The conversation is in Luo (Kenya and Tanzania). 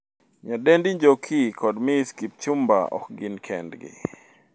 Nyadendi Njoki kod Ms Kipchumba ok gin kendgi.